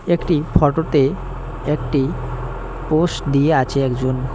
একটি ফটো -তে একটি পোস দিয়ে আছে একজন।